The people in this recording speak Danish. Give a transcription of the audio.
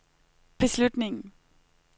beslutningen